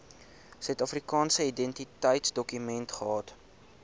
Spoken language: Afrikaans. suidafrikaanse identiteitsdokument gehad